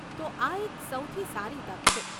તો આ એક સૌથી સારી તક છે.